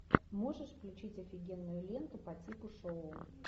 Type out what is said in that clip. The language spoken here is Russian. можешь включить офигенную ленту по типу шоу